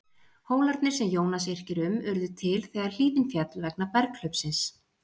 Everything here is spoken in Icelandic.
Hólarnir sem Jónas yrkir um urðu til þegar hlíðin féll vegna berghlaupsins.